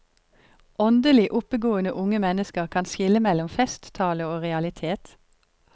Åndelig oppegående unge mennesker kan skille mellom festtale og realitet.